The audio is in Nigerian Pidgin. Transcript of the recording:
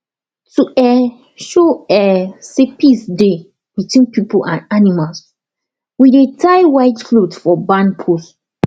to um show um say peace dey between people and animals we dey tie white cloth for barn post